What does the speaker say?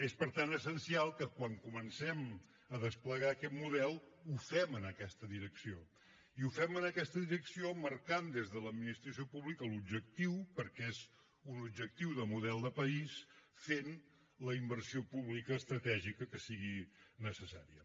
és per tant essencial que quan comencem a desplegar aquest model ho fem en aquesta direcció i ho fem en aquesta direcció marcant ne des de l’administració pública l’objectiu perquè és un objectiu de model de país fent hi la inversió pública estratègica que sigui necessària